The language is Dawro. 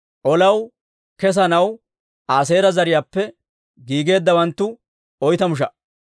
Olaw kesanaw Aaseera zariyaappe giigeeddawanttu oytamu sha"a.